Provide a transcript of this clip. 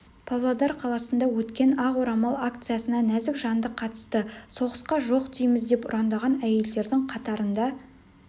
павлодар қаласында өткен ақ орамал акциясына нәзік жанды қатысты соғысқа жоқ дейміз деп ұрандаған әйелдердің қатарында